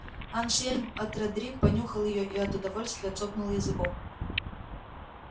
ансельм от родрик понюхал её и от удовольствия цокнул языком